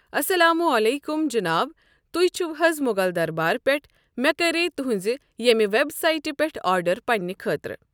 اَسَلامُ علیکُم جِناب تُہۍ چھو حظ مَغل دَربار پٮ۪ٹھ مےٚ کَریٛیہ تہٕنٛزِ ییٚمہِ وٮ۪بسایٹہِ پٮ۪ٹھٕ آرڈر پنٛنہ خٲطرٕ۔